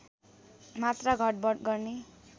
मात्रा घटबढ गर्ने